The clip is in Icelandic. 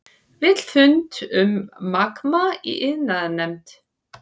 Vill fund um Magma í iðnaðarnefnd